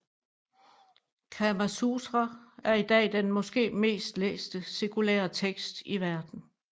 Kama Sutra er i dag den måske mest læste sekulære tekst i verden